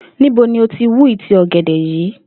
Níbo ni o ti wú ìtí ò̩gè̩dè̩ yìí?